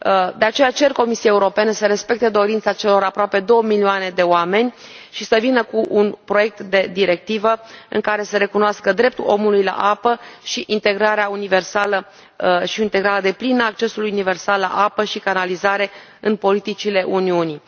De aceea, cer Comisiei Europene să respecte dorința celor aproape două milioane de oameni și să vină cu un proiect de directivă în care să recunoască dreptul omului la apă și integrarea deplină a accesului universal la apă și canalizare în politicile Uniunii.